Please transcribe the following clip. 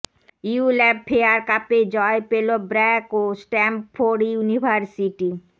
ULAB fair কাপে জয় পেল ব্র্যাক ও স্ট্যামফোর্ড ইউনিভার্সিটি